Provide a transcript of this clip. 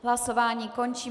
Hlasování končím.